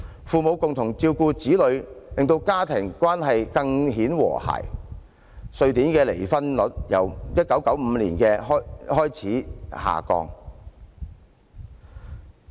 父母共同照顧子女，令家庭關係更顯和諧，瑞典的離婚率也由1995年開始下降。